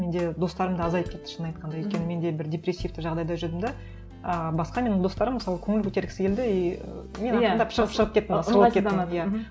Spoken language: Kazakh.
менде достарым да азайып кетті шынын айтқанда өйткені менде бір депрессивті жағдайда жүрдім де ііі басқа менің достарым мысалы көңіл көтергісі келді и мен ақырындап шығып шығып кеттім